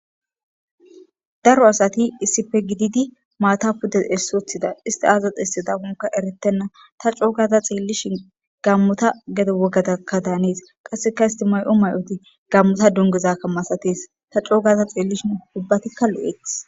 Daro asati issife gididi maata pude essoothida isti azax hesse dahonka eretenna ta coogaza xeellishin gammota gedo wogatakka daanees qasseka istimay'o may'oti gammota dungezakka masatees ta coogaza xeellishin hubbatikka lo'eth